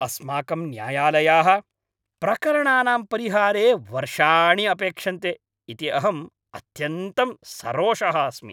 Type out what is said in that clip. अस्माकं न्यायालयाः प्रकरणानां परिहारे वर्षाणि अपेक्षन्ते इति अहम् अत्यन्तं सरोषः अस्मि।